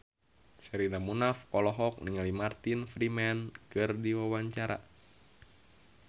Sherina Munaf olohok ningali Martin Freeman keur diwawancara